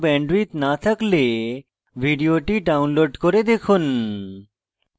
ভাল bandwidth না থাকলে ভিডিওটি download করে দেখুন